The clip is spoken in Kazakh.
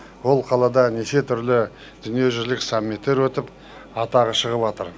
ол қалада неше түрлі дүниежүзілік саммиттер өтіп атағы шығыватыр